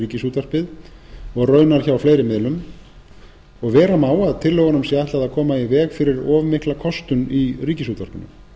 ríkisútvarpið og raunar hjá fleiri miðlum og vera má að tillögunum sé ætlað að koma í veg fyrir of mikla kostun í ríkisútvarpinu